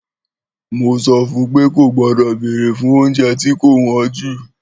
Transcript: Mò sõfun pe ogbõdō bèrè fun ounjé tí kò wõn jú